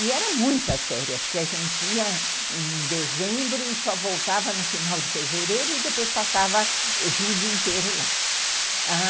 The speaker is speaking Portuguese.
E eram muitas férias, porque a gente ia em dezembro e só voltava no final de fevereiro e depois passava o julho inteiro lá.